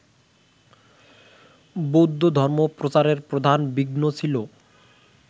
বৌদ্ধধর্মপ্রচারের প্রধান বিঘ্ন ছিল